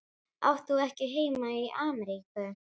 Átt þú ekki heima í Ameríku?